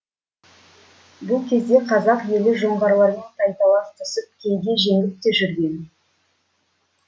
бұл кезде қазақ елі жоңғарлармен тайталас түсіп кейде жеңіп те жүрген